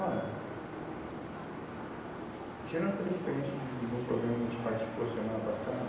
Olha, tirando pela experiência de um de um programa em que a gente participou semana passada,